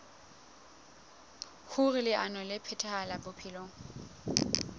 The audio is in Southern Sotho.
hoer leano le phethahale bophelong